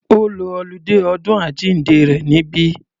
Ó lo oludé ọdún àjíǹde rẹ̀ níbí.